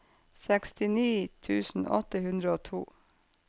sekstini tusen åtte hundre og to